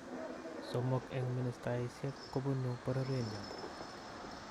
Somok eng ministayiisyek kopunu bororyenyon